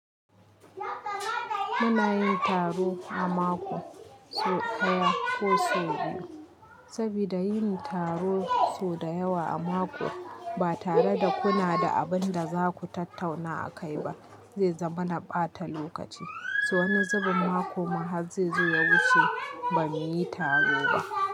Muna yin taro a mako sau ɗaya ko sau biyu. Sabida yin taro sau da yawa a mako ba tare da kuna da abin da za ku tattauna akai ba zai zama na ɓata lokaci. So Wani zubin mako ma har zai zo ya wuce ba mu yi taro ba.